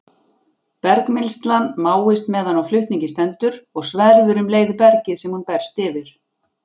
Bergmylsnan máist meðan á flutningi stendur og sverfur um leið bergið sem hún berst yfir.